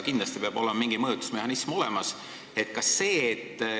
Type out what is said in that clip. Kindlasti peab mingi mõjutusmehhanism olemas olema.